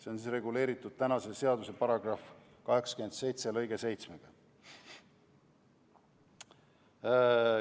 See on reguleeritud seaduse § 27 lõikega 7.